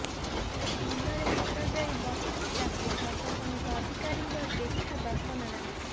ମୁଣ୍ଡରେ ହାତଦେଇ ବସିଛି ଚାଷୀ ପ୍ରଶାସନିକ ଅଧିକାରୀଙ୍କ ଦେଖା ଦର୍ଶନ ନାହିଁ